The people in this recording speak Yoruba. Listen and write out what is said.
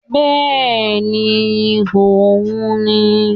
Bẹ́ẹ̀ni òun n ni